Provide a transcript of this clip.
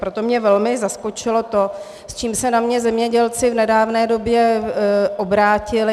Proto mě velmi zaskočilo to, s čím se na mě zemědělci v nedávné době obrátili.